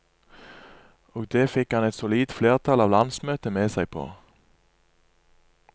Og det fikk han et solid flertall av landsmøtet med seg på.